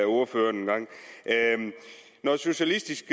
ordføreren engang når socialistisk